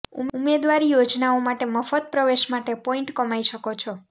ઉમેદવારી યોજનાઓ માટે મફત પ્રવેશ માટે પોઈન્ટ કમાઇ શકો છો